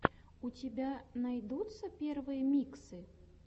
у тебя найдется первые миксы